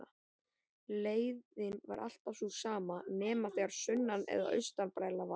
Leiðin var alltaf sú sama nema þegar sunnan- eða austanbræla var.